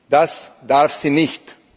Das darf sie nicht!